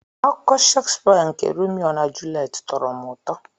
Akụkọ Shakespeare nke Romeo na Juliet tọrọ m ụtọ.